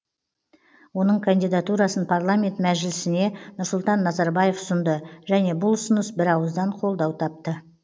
оның кандидатурасын парламент мәжілісіне нұрсұлтан назарбаев ұсынды және бұл ұсыныс бірауыздан қолдау тапты